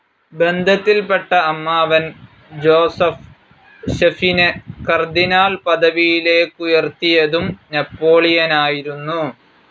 ബന്ധത്തിൽപെട്ട അമ്മാവൻ ജൊസഫ് ഫെഷിനെ കാർഡിനൽ പദവിയിലേക്കുയർത്തിയതും നേപ്പോളിയനായിരുന്നു.